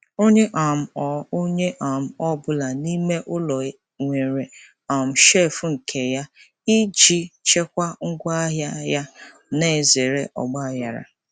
Onye um ọ Onye um ọ bụla n'ime ụlọ nwere um shelf nke ya iji chekwaa ngwa ahịa yana zere ọgba aghara.